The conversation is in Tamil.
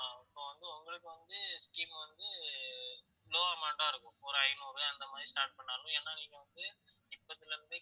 ஆஹ் இப்ப வந்து உங்களுக்கு வந்து scheme வந்து low amount ஆ இருக்கும் ஒரு ஐநூறு அந்த மாதிரி start பண்ணாலும் ஏன்னா நீங்க வந்து இப்பத்துல இருந்தே